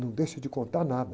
Não deixa de contar nada.